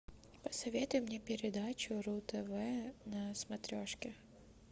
посоветуй мне передачу ру тв на смотрешке